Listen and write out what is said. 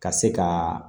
Ka se ka